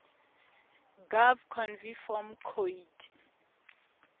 gov conv form coid